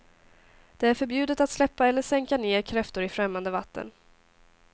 Det är förbjudet att släppa eller sänka ner kräftor i främmande vatten.